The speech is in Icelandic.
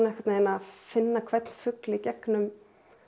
finna hvern fugl í gegnum